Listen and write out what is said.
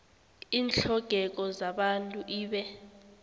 iintlhogeko zabantu ibe